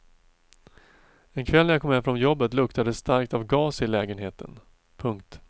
En kväll när jag kom hem från jobbet luktade det starkt av gas i lägenheten. punkt